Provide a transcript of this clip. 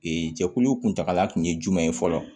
Ee jɛkulu kuntagala kun ye jumɛn ye fɔlɔ